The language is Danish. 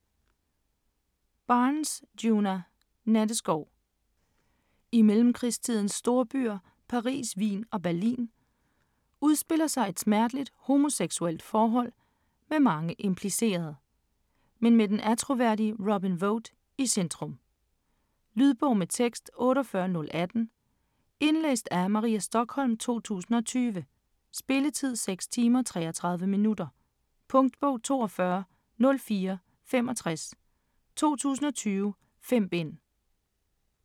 Barnes, Djuna: Natteskov I mellemkrigstidens storbyer Paris, Wien og Berlin, udspiller sig et smerteligt homoseksuelt forhold, med mange implicerede, men med den attråværdige Robin Vote i centrum. Lydbog med tekst 48018 Indlæst af Maria Stokholm, 2020. Spilletid: 6 timer, 33 minutter. Punktbog 420465 2020. 5 bind.